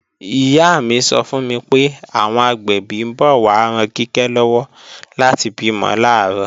Ìyá mi sọ fún mi pé, àwọn agbẹ̀bí ń bọ̀ wá ran Kíkẹ́ lọ́wọ́ láti bímọ làárọ̀